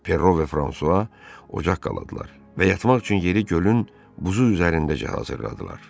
Perro və Fransua ocaq qaladılar və yatmaq üçün yeri gölün buzu üzərindəcə hazırladılar.